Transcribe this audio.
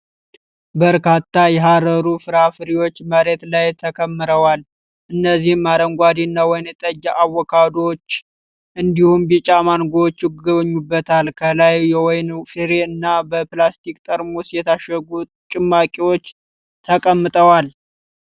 በርካታ የሐሩር ፍራፍሬዎች መሬት ላይ ተከምረዋል። እነዚህም አረንጓዴና ወይንጠጅ አቮካዶዎች፣ እንዲሁም ቢጫ ማንጎዎች ይገኙበታል። ከላይ የወይን ፍሬ እና በፕላስቲክ ጠርሙሶች የታሸጉ ጭማቂዎች ተቀምጠዋል።